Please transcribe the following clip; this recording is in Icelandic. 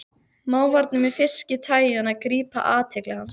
Mávarnir með fiski-tægjuna grípa athygli hans.